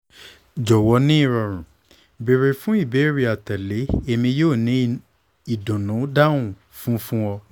jọwọ ni irọrun beere fun ibeere atẹle emi yoo ni idunnu dahun fun fun ọ